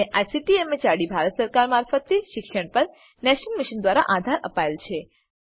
જેને ICT MHRD Bharat સરકાર મારફતે શિક્ષણ પર નેશનલ મિશન દ્વારા આધાર અપાયેલ છે